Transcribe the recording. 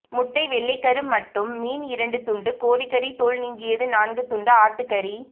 முட்டை வெள்ளைக் கரு மட்டும் மீன் இரண்டு துண்டு கோழிக்கறி தோல் நீக்கியது நான்கு துண்டு ஆட்டுக்கறி